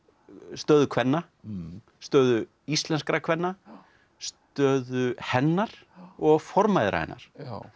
stöðu kvenna stöðu íslenskra kvenna stöðu hennar og formæðra hennar